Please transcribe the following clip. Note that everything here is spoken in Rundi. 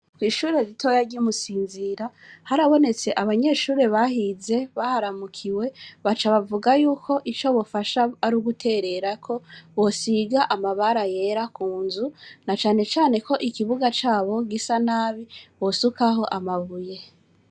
Kw'ishure ritoya ry'imusinzira harabonetse abanyeshure bahize baharamukiwe baca bavuga yuko ico bofasha ar'uguterera ko bosiga amabara yera kunzu nacanecane ko ikibuga cabo gisa nabi bosukaho amabuye.